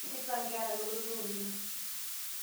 Itipika nkera lototo oleng